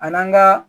A n'an ka